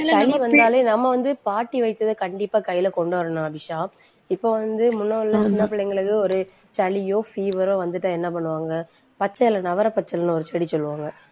சளி வந்தாலே நம்ம வந்து பாட்டி வைத்தியத்தை கண்டிப்பா கையிலே கொண்டு வரணும், அபிஷா இப்ப வந்து முன்ன உள்ள சின்ன பிள்ளைங்களுக்கு, ஒரு சளியோ, fever ஒ வந்துட்டா என்ன பண்ணுவாங்க? பச்சை இலை, நவரப்பச்சிலைன்னு ஒரு செடி சொல்லுவாங்க.